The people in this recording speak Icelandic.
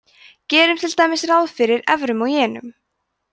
gerum til dæmis ráð fyrir evrum og jenum